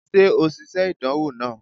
Ṣe o ṣiṣe idanwo naa?